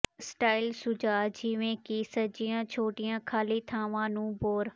style ਸੁਝਾਅ ਜਿਵੇਂ ਕਿ ਸਜੀਆਂ ਛੋਟੀਆਂ ਖਾਲੀ ਥਾਵਾਂ ਨੂੰ ਬੋਰ